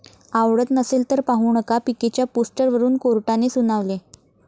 आवडत नसेल तर पाहू नका', पीकेच्या पोस्टरवरुन कोर्टाने सुनावले